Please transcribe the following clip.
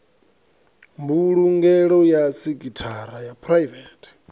mbulungelo ya sekhithara ya phuraivethe